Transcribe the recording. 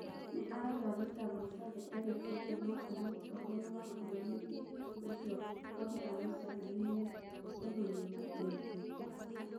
Nĩ arauga thitango ciothe enacio kuuma kũrĩ mũtongoria wa bũrũri-inĩ ũcio Kaguta Mũceveni nĩ kũmũnina gĩũteti.